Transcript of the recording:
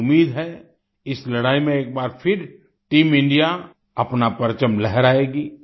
मुझे उम्मीद है इस लड़ाई में एक बार फिर टीम इंडिया अपना परचम लहराएगी